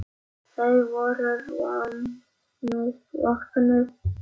Þau voru vopnuð.